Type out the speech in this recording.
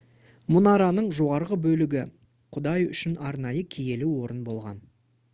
мұнараның жоғарғы бөлігі құдай үшін арнайы киелі орын болған